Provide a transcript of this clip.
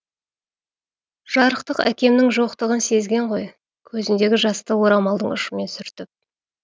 жарықтық әкемнің жоқтығын сезген ғой көзіндегі жасты орамалдың ұшымен сүртіп